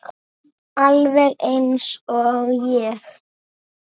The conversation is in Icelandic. Alveg eins og ég!